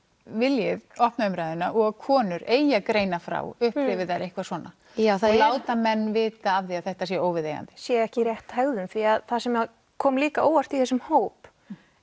viljið opna umræðuna og að konur eigi að greina frá upplifi þær eitthvað svona já og láta menn vita af því að þetta sé óviðeigandi að sé ekki rétt hegðun því að það sem kom líka á óvart í þessum hóp